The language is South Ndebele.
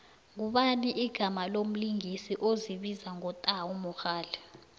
ngubani igama lomlingisi ozibiza ngo tau mogale